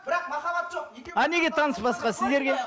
бірақ махаббат жоқ а неге таныспасқа сіздерге